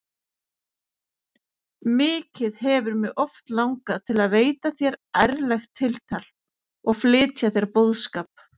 Mikið hefur mig oft langað til að veita þér ærlegt tiltal og flytja þér boðskap.